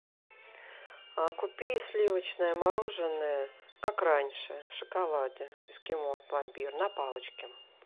купи сливочное мороженое как раньше в шоколаде эскимо пломбир на палочке